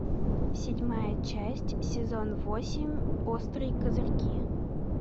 седьмая часть сезон восемь острые козырьки